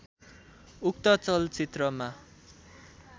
उक्त चलचित्रमा